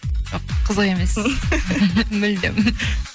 жоқ қызық емес мүлдем